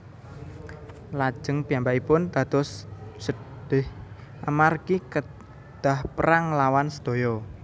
Lajeng piyambakipun dados sedhih amargi kedhah perang nglawan sedaya